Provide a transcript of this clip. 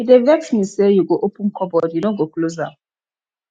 e dey vex me sey you go open cupboard you no go close am